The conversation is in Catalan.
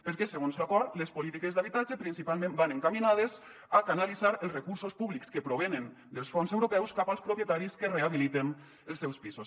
perquè segons l’acord les polítiques d’habitatge principalment van encaminades a canalitzar els recursos públics que provenen dels fons europeus cap als propietaris que rehabiliten els seus pisos